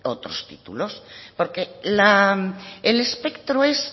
otros títulos porque el espectro es